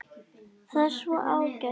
Það er svo ágætt.